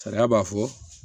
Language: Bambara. Sariya b'a fɔ